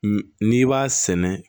N'i b'a sɛnɛ